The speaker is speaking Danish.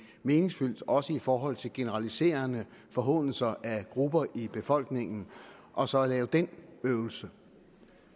meningsfuld også i forhold til generaliserende forhånelser af grupper i befolkningen og så lave den øvelse